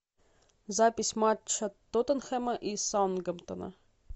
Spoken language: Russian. запись матча тоттенхэма и саутгемптона